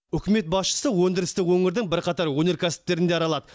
үкімет басшысы өңдірісті өңірдің бірқатар өнеркәсіптерін де аралады